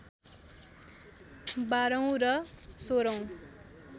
१२ औँ र १६ औँ